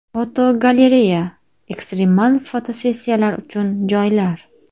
Fotogalereya: Ekstremal fotosessiyalar uchun joylar.